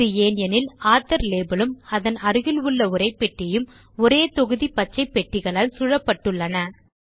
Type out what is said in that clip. இது ஏன் எனில் ஆத்தோர் லேபல் உம் அதன் அருகில் உள்ள உரைப்பெட்டியும் ஒரே தொகுதி பச்சைப்பெட்டிகளால் சூழப்பட்டுள்ளது